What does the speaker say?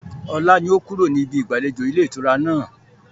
Ọlá ni ó kúrò ní ibí ìgbàlejò ilé ìtura náà.